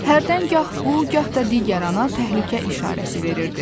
Hərdən gah bu, gah da digər ana təhlükə işarəsi verirdi.